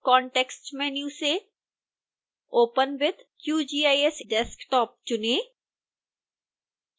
context menu से open with qgis desktop चुनें